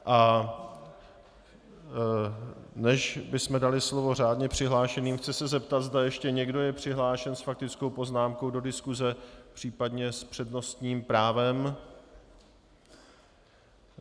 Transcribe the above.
A než bychom dali slovo řádně přihlášeným, chci se zeptat, zda ještě někdo je přihlášen s faktickou poznámkou do diskuse, případně s přednostním právem.